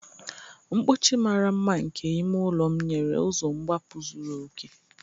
Mkpọchi mara mma nke ime ụlọ m nyere ụzọ mgbapụ zuru oke.